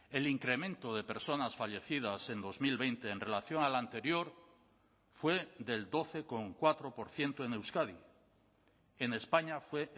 el incremento de personas fallecidas en dos mil veinte en relación al anterior fue del doce coma cuatro por ciento en euskadi en españa fue